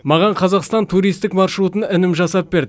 маған қазақстан туристік маршрутын інім жасап берді